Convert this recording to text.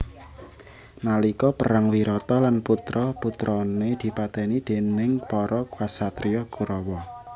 Nalika perang Wirata lan putra putrane dipateni déning para ksatria Kurawa